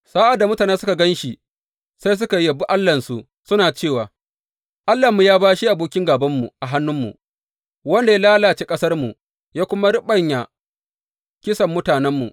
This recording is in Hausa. Sa’ad da mutane suka gan shi, sai suka yabi allahnsu, suna cewa, Allahnmu ya bashe abokin gābanmu a hannunmu, wanda ya lalace ƙasarmu ya kuma raɓanya kisan mutanenmu.